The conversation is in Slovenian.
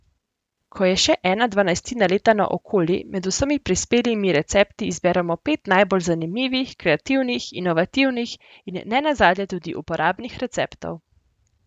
Ko je še ena dvanajstina leta naokoli, med vsemi prispelimi recepti izberemo pet najbolj zanimivih, kreativnih, inovativnih in ne nazadnje tudi uporabnih receptov.